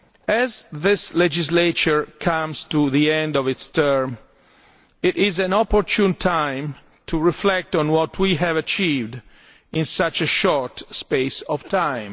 As this legislature comes to the end of its term, it is an opportune time to reflect on what we have achieved in such a short space of time.